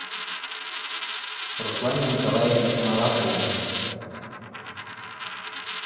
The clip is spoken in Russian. руслане николаевиче малахове